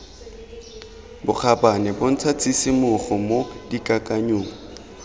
bokgabane bontsha tshisimogo mo dikakanyong